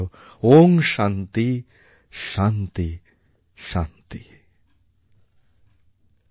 ওঁ শান্তি শান্তি শান্তি